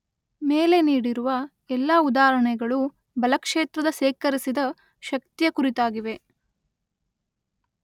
ಮೇಲೆ ನೀಡಿರುವ ಎಲ್ಲಾ ಉದಾಹರಣೆಗೆಳು ಬಲ ಕ್ಷೇತ್ರದ ಶೇಖರಿಸಿದ ಶಕ್ತಿಯ ಕುರಿತಾಗಿವೆ.